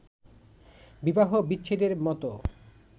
বিবাহবিচ্ছেদের মত